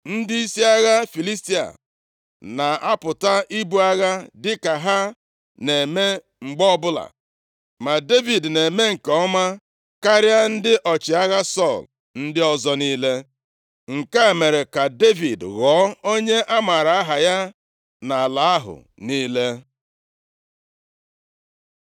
Ndịisi agha Filistia na-apụta ibu agha dịka ha na-eme mgbe ọbụla, ma Devid na-eme nke ọma karịa ndị ọchịagha Sọl ndị ọzọ niile. Nke a mere ka Devid ghọọ onye a mara aha ya nʼala ahụ niile.